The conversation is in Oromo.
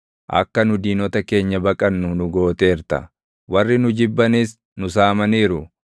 Akka nu diinota keenya baqannu nu gooteerta; warri nu jibbanis nu saamaniiru.